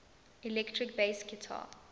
electric bass guitar